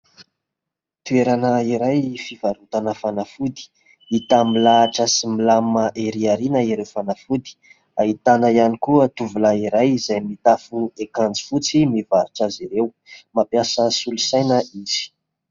Toerana iray fivarotana fanafody, hita milahatra sy milamina ery aorianan'ireo fanafody. Ahitana ihany koa tovolahy iray izay mitafy akanjo fotsy mivarotra azy ireo. Mampiasa solosaina izy.